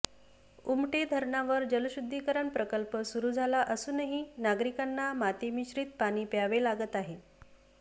उमटे धरणावर जलशुद्धीकरण प्रकल्प सुरू झाला असूनही नागरिकांना मातीमिश्रित पाणी प्यावे लागत आहे